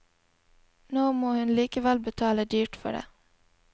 Nå må hun likevel betale dyrt for det.